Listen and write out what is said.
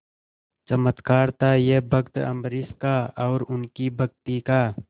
चमत्कार था यह भक्त अम्बरीश का और उनकी भक्ति का